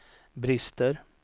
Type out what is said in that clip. brister